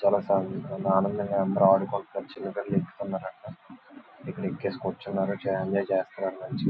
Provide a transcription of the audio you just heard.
చాలా ఫ్యామిలీస్ ఉన్నారు. చాలా ఆనందంగా అందరూ ఆడుకుంటున్నారు.చిన్న పిల్లలు ఎక్కువ ఉన్నారు అక్కడా. ఇక్కడ ఎక్కేసి కూర్చున్నారు. చాల ఎంజాయ్ చేస్తున్నారు మంచిగా.